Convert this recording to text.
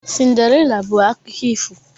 Cinderella bụ akụkọ ifo.